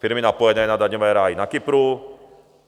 Firmy napojené na daňové ráje na Kypru?